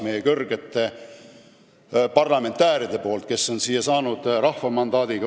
Siin on ju meie kõrged parlamendiliikmed, kes on osutunud valituks tänu rahva mandaadile.